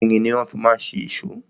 Irin ni wọ́n fi ma ń ṣe èṣó.